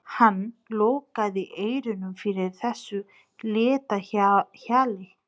Hann lokaði eyrunum fyrir þessu létta hjali.